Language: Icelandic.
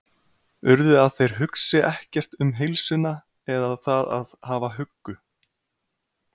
urðu að þeir hugsi ekkert um heilsuna eða það að hafa huggu